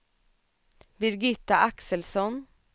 Birgitta Axelsson